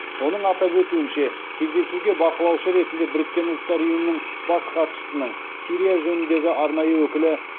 оның атап өтуінше кездесуге бақылаушы ретінде біріккен ұлттар ұйымының бас хатшысының сирия жөніндегі арнайы өкілі